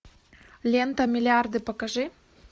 лента миллиарды покажи